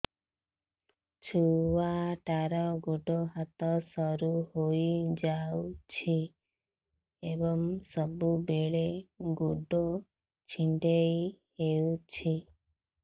ଛୁଆଟାର ଗୋଡ଼ ହାତ ସରୁ ହୋଇଯାଇଛି ଏବଂ ସବୁବେଳେ ଗୋଡ଼ ଛଂଦେଇ ହେଉଛି